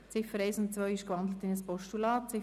Die Ziffern 1 und 2 sind in ein Postulat gewandelt;